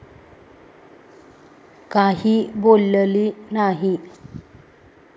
काही बोलली नाही.